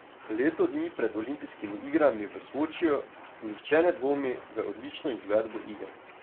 Leto dni pred olimpijskimi igrami v Sočiju nihče ne dvomi v odlično izvedbo iger.